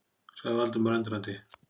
sagði Valdimar, undrandi.